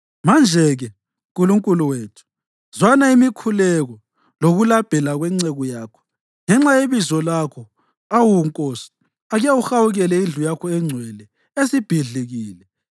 Manje-ke, Nkulunkulu wethu, zwana imikhuleko lokulabhela kwenceku yakho. Ngenxa yebizo lakho, awu Nkosi, ake uhawukele indlu yakho engcwele esibhidlikile.